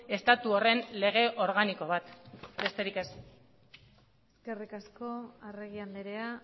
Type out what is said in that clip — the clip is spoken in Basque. estatu horren lege organiko bat besterik ez eskerrik asko arregi andrea